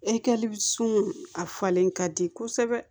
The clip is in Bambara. E kɛli sun a falen ka di kosɛbɛ